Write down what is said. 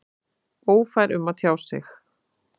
Ófær um að tjá sig?